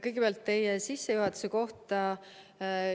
Kõigepealt teie sissejuhatuse kohta.